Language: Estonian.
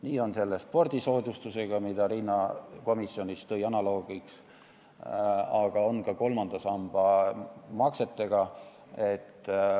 Nii on selle spordisoodustusega, mida Riina komisjonis analoogina näiteks tõi, aga nii on ka kolmanda samba maksetega.